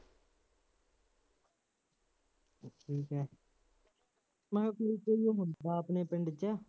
ਠੀਕ ਹੈ, ਮੰਨ ਲਉ ਆਪਣੇ ਪਿੰਡ ਚ